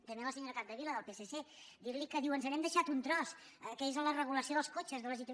també la senyora capdevila del psc dir li que diu ens n’hem deixat un tros que és la regulació dels cotxes de les itv